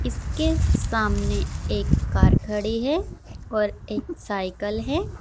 इसके सामने एक कार खड़ी है और एक साइकल है।